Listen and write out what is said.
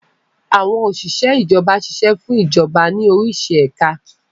Àwọn Òsìsẹ́ Ìjọba ṣiṣẹ́ fún Ìjọba ní orísi ẹ̀ka